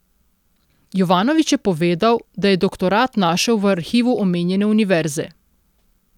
Jovanović je povedal, da je doktorat našel v arhivu omenjene univerze.